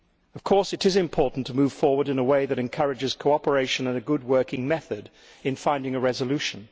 Of course, it is important to move forward in a way that encourages cooperation and a good working method in finding a resolution.